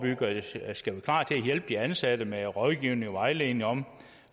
hjælpe de ansatte med rådgivning og vejledning om